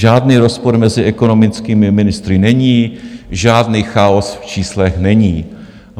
Žádný rozpor mezi ekonomickými ministry není, žádný chaos v číslech není.